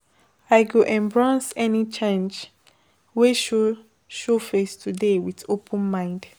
I go embrace any change wey show show face today with open mind.